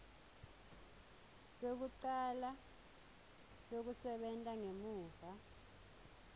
lwekucala lwekusebenta ngemuva